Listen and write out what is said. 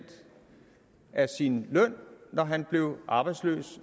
af sin løn når han blev arbejdsløs